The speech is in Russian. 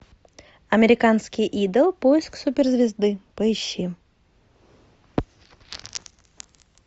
американский идол поиск суперзвезды поищи